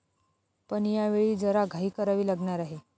पण यावेळी जरा घाई करावी लागणार आहे.